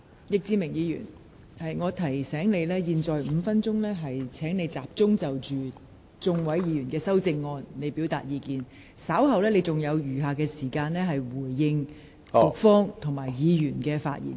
易志明議員，我提醒你，你應在這5分鐘的發言時間集中就多位議員的修正案表達意見，稍後你還有時間就局長及議員的發言答辯。